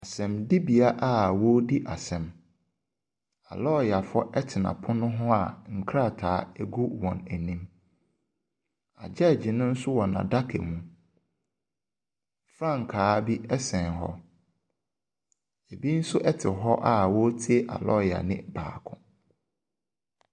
Asɛmdibea a ɔredi asɛm na alɔyafoɔ te hɔ a nkrataa gugu wɔn anim. Judge no nso wɔ n'adaka mu. Frankaa bi ɛsen hɔ. Ebi nso te hɔ a ɔretie alɔyanii baako.